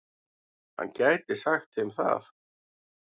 Hann gæti sagt þeim það.